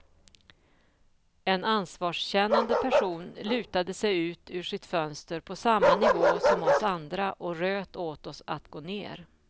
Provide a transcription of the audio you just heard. En ansvarskännande person lutade sig ut ur sitt fönster på samma nivå som oss andra och röt åt oss att gå ner.